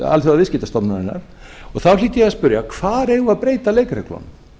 alþjóðaviðskiptastofnunarinnar þá hlýt ég að spyrja hvar eigum við að breyta leikreglunum